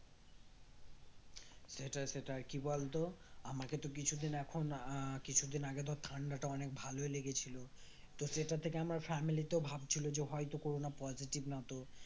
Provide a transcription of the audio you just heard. সেটাই সেটাই কি বলতো আমাকে তো কিছুদিন এখন আহ কিছুদিন আগে তো ঠান্ডাটা অনেক ভালোই লেগেছিল তো সেটা থেকে আমার family তো ভাবছিল যে হয়তো করোনা positive না তো